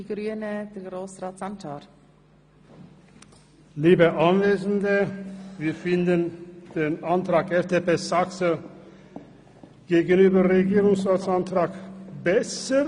Wir finden, der Antrag FDP Saxer sei besser als der Antrag des Regierungsrats.